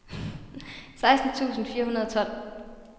seksten tusind fire hundrede og tolv